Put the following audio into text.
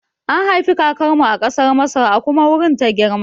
An haifi kakar mu a ƙasar Masar a kuma wurin ta girma